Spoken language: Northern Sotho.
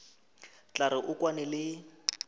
tla re o kwane le